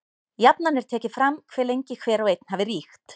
Jafnan er tekið fram hve lengi hver og einn hafi ríkt.